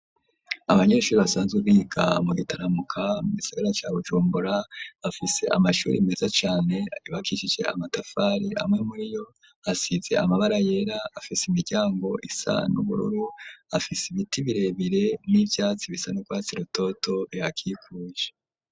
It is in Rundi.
Abanyeshuri basanze biga mu Gitaramuka mu gisagara ca Bujumbura bafise amashuri meza cane yubakishije amatafari amwe muri yo asize amabara yera afise imiryango isa nubururu afise ibiti birebire n'ivyatsi bisa n'urwatsi rutoto ruhakikuje.